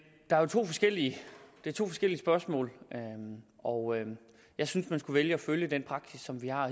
det er to forskellige spørgsmål og jeg synes man skulle vælge at følge den praksis som vi har